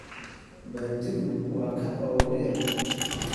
Baaldigu waa kan ugu yar.